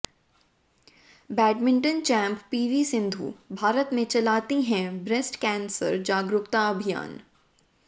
badminton champ PV Sindhu Bharat में चलाती हैं ब्रेस्ट कैंसर जागरुकता अभियान